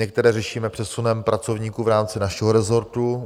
Některé řešíme přesunem pracovníků v rámci našeho resortu.